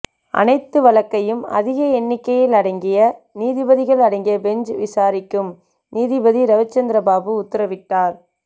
அனைத்து வழக்கையும் அதிக எண்ணிக்கையில் அடங்கிய நீதிபதிகள் அடங்கிய பெஞ்ச் விசாரிக்கும் நீதிபதி ரவிசந்திரபாபு உத்தரவிட்டார்